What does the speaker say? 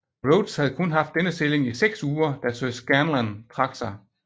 Rhodes havde kun haft denne stilling i seks uger da sir Scanlen trak sig